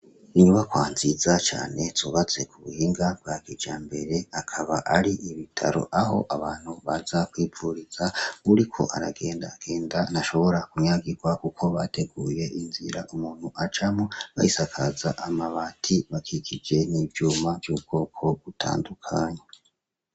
Inyubakwa nziza cane zubatswe kubuhinga bwa kijambere, akaba ari ibitaro aho abantu baza kwivuriza, uwuriko aragendagenda ntashonora kunyagirwa kuko bateguye inzira umuntu acamwo bayisakaza amabati bakikije n'ivyuma vy'ubwoko butandukanye.